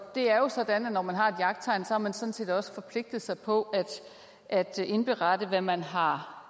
det er jo sådan at når man har et jagttegn har man sådan set også forpligtet sig på at indberette hvad man har